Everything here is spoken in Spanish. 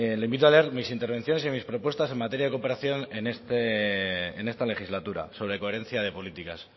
le invito a leer mis intervenciones y mis propuestas en materia de cooperación en esta legislatura sobre coherencia de políticas